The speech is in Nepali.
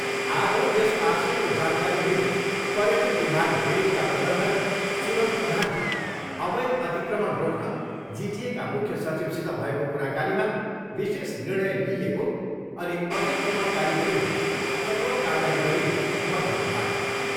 आज यस आशयको जानकारी दिँदै पर्यटन विभाग मिरिकका प्रबन्धक सूरज प्रधानले अवैध अतिक्रमण रोक्न जिटिएका मुख्य सचिवसित भएको कुराकानीमा विशेष निर्णय लिइएको अनि अतिक्रमणकारीविरूद्ध कठोर कारबाही गरिने बताउनुभयो।